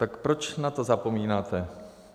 Tak proč na to zapomínáte?